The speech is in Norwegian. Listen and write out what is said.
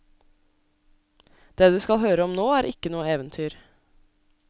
Det du skal høre om nå er ikke noe eventyr.